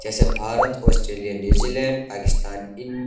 जैसे Bharat Australia New Zealand Pakistan इन --